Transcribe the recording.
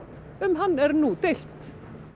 um hann er nú deilt